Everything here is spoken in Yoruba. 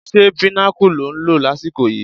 Ṣé Pinnacle lò ń lọ lásìkò yìí?